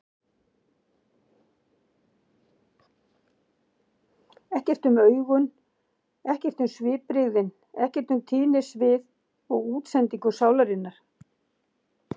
Ekkert um augun, ekkert um svipbrigðin, ekkert um tíðnisvið og útsendingu sálarinnar.